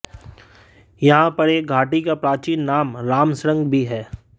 यहां पर एक घाटी का प्राचीन नाम रामशृंग भी है